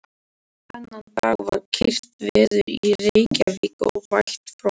LÁRUS: Ekki sagðirðu þetta í réttinum.